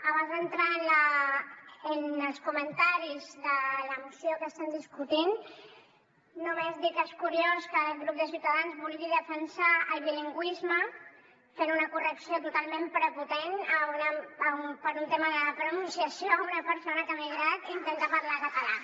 abans d’entrar en els comentaris de la moció que estem discutint només dir que és curiós que el grup de ciutadans vulgui defensar el bilingüisme fent una correcció totalment prepotent per un tema de pronunciació a una persona que ha emigrat i intenta parlar català